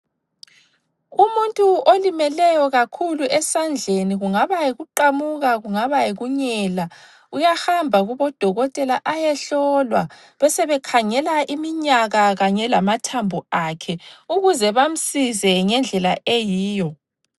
Umuntu olimeleyo kakhulu esandleni kungaba yikuqamuka kungaba yikunyela uyahamba kubodokotela ayehlolwa besebekhangela iminyaka kanye lamathambo akhe ukuze bamsize ngendlela eyiyo.